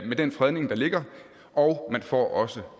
med den fredning der ligger og man får også